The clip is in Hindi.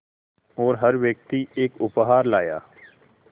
और हर व्यक्ति एक उपहार लाया